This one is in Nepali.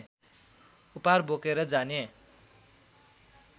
उपहार बोकेर जाने